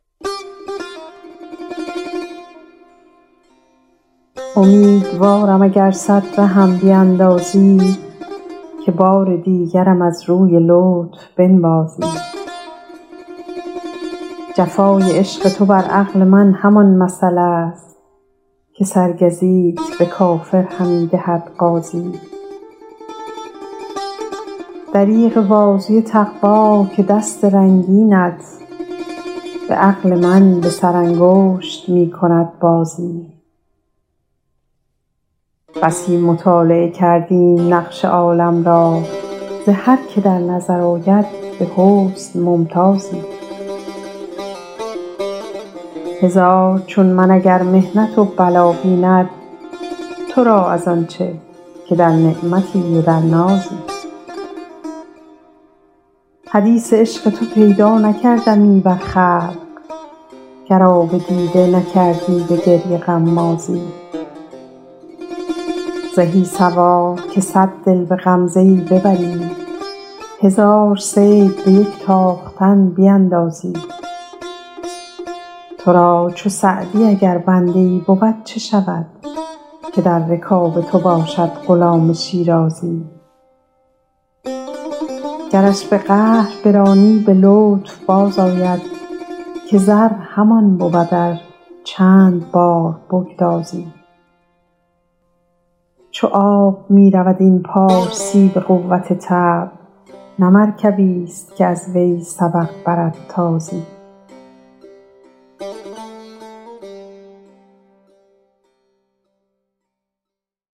امیدوارم اگر صد رهم بیندازی که بار دیگرم از روی لطف بنوازی چو روزگار نسازد ستیزه نتوان برد ضرورت است که با روزگار در سازی جفای عشق تو بر عقل من همان مثل است که سرگزیت به کافر همی دهد غازی دریغ بازوی تقوا که دست رنگینت به عقل من به سرانگشت می کند بازی بسی مطالعه کردیم نقش عالم را ز هر که در نظر آید به حسن ممتازی هزار چون من اگر محنت و بلا بیند تو را از آن چه که در نعمتی و در نازی حدیث عشق تو پیدا نکردمی بر خلق گر آب دیده نکردی به گریه غمازی زهی سوار که صد دل به غمزه ای ببری هزار صید به یک تاختن بیندازی تو را چو سعدی اگر بنده ای بود چه شود که در رکاب تو باشد غلام شیرازی گرش به قهر برانی به لطف بازآید که زر همان بود ار چند بار بگدازی چو آب می رود این پارسی به قوت طبع نه مرکبیست که از وی سبق برد تازی